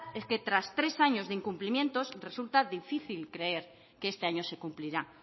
es que tras tres años de incumplimientos resulta difícil creer que este año se cumplirá